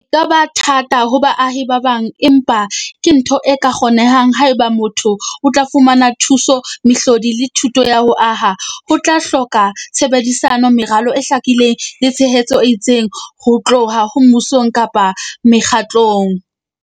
Ka ba thata ho baahi ba bang, empa ke ntho e ka kgonehang haeba motho o tla fumana thuso, mehlodi le thuto ya ho aha. Ho tla hloka tshebedisano, meralo e hlakileng le tshehetso e itseng ho tloha ho mmusong kapa mekgatlong.